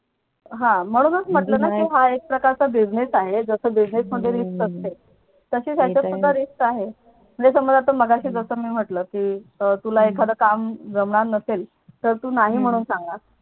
हा म्हणूनच म्हटलं ना हा एक प्रकारचा Business आहे जस हम्म Business मध्ये Risk असते ते तर आहे तशी यांच्यात सुद्धा Risk आहे जस मी मघाशी जस हम्म मी म्हटलं कि तुला एखाद काम जमणार नसेल तर तू नाही म्हणणं सांग